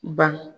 Ban